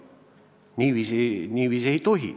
Niiviisi ei tohi!